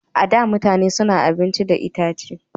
A da, mutane su na dafa abincin da itace.